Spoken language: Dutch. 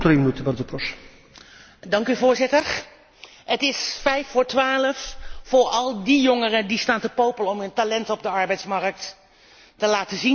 Voorzitter, het is vijf voor twaalf voor al die jongeren die staan te popelen om hun talenten op de arbeidsmarkt te laten zien, maar nu geen kans krijgen.